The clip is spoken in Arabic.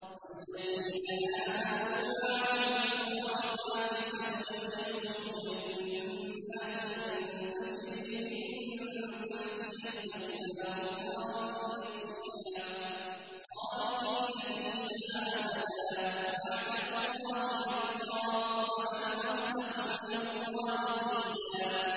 وَالَّذِينَ آمَنُوا وَعَمِلُوا الصَّالِحَاتِ سَنُدْخِلُهُمْ جَنَّاتٍ تَجْرِي مِن تَحْتِهَا الْأَنْهَارُ خَالِدِينَ فِيهَا أَبَدًا ۖ وَعْدَ اللَّهِ حَقًّا ۚ وَمَنْ أَصْدَقُ مِنَ اللَّهِ قِيلًا